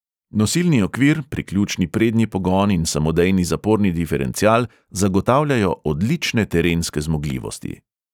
Nosilni okvir, priključni prednji pogon in samodejni zaporni diferencial zagotavljajo odlične terenske zmogljivosti.